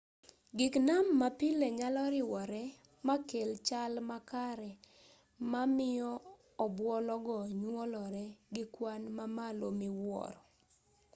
gik nam ma pile nyalo riwore makel chal makare ma miyo obuolo go nyuolore gi kwan mamalo miwuoro